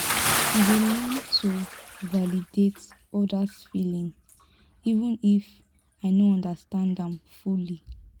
i dey learn to validate others’ feelings even if i no understand am fully.